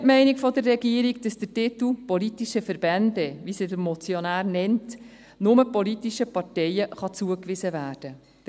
Wir teilen die Meinung der Regierung, dass der Titel «politische Verbände», wie sie der Motionär nennt, nur politischen Parteien zugewiesen werden kann.